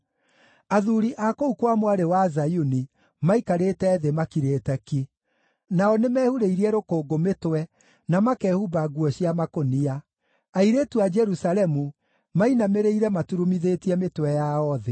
Athuuri a kũu kwa Mwarĩ wa Zayuni maikarĩte thĩ makirĩte ki; nao nĩmehurĩirie rũkũngũ mĩtwe, na makehumba nguo cia makũnia. Airĩtu a Jerusalemu mainamĩrĩire maturumithĩtie mĩtwe yao thĩ.